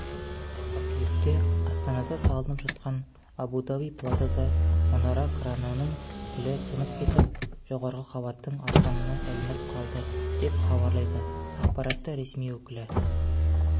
қыркүйекте астанада салынып жатқан абу-даби плазада мұнара кранының тілі сынып кетіп жоғарғы қабаттың арқанына ілініп қалды деп хабарлайды ақпаратты ресми өкілі